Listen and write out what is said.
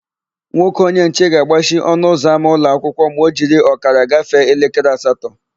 Nwoke onyenche ga-agbachi ọnụụzọama ụlọakwụkwọ ma o jiri ọkara gafee elekere asatọ.